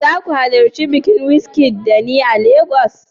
Shin za ku halarci bikin Wizkid da ni a Legas?